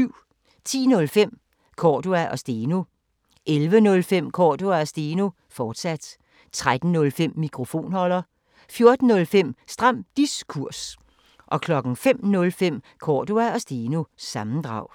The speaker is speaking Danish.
10:05: Cordua & Steno 11:05: Cordua & Steno, fortsat 13:05: Mikrofonholder 14:05: Stram Diskurs 05:05: Cordua & Steno – sammendrag